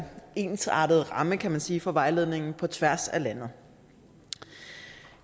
ensartet ramme kan man sige for vejledningen på tværs af landet